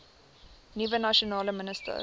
nuwe nasionale minister